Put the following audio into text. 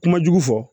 Kuma jugu fɔ